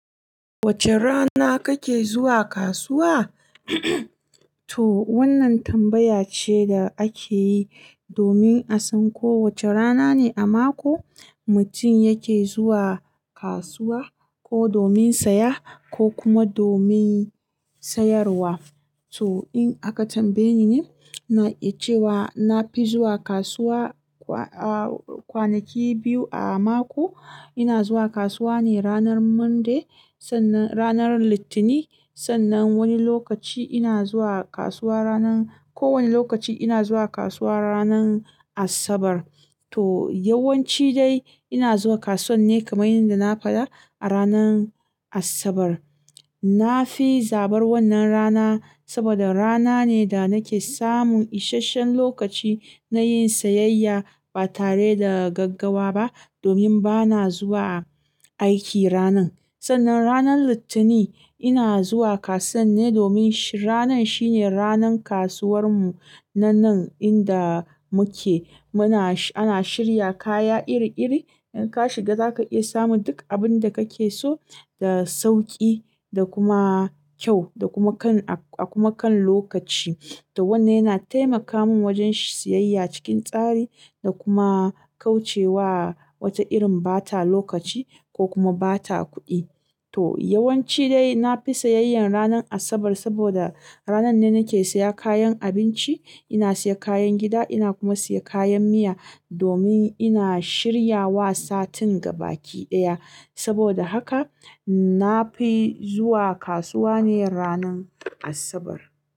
Wace rana kake zuwa kasuwa? To wannan tambaya ce da ake yi domin a san ko wace rana ne a mako mutum yake zuwa kasuwa ko domin saya ko kuma domin sayarwa. To in aka tambaye ni, ina iya ce wa na fi zuwa kasuwa kwanaki biyu a mako. Ina zuwa kasuwa ne ranar Monday, sannan ranar Litinin, sannan wani lokaci ina zuwa kasuwa ranar-- kowane lokaci ina zuwa kasuwa ranar Asabar. To yawanci dai ina zuwa kasuwan ne kamar yadda na faɗa a ranar Asabar. Na fi zabar wannan rana saboda rana ne da nake samun isasshen lokaci na yin siyayya ba tare da gaggawa ba domin ba na zuwa aiki ranan. Sannan ranar Litinin ina zuwa kasuwan ne domin ranan shine ranan kasuwar mu na nan inda muke ana shirya kaya iri iri. In ka shiga za ka iya samun duk abin da kake so da sauƙi da kuma kyau da kuma kan-- a kuma kan lokaci. To wannan yana taimaka min wajen siyayya cikin tsari da kuma kauce wa wata irin bata lokaci ko kuma bata kuɗi. To yawanci dai na fi siyayyar ranar Asabar saboda rana ne nake siya kayan abinci, ina siya kayan gida, ina kuma siya kayan miya domin ina shirya wa satin gaba kiɗaya. Saboda haka na fi zuwa kasuwa ne ranar Asabar.